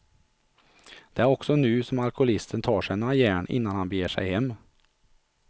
Det är också nu som alkoholisten tar sig några järn innan han beger sig hem.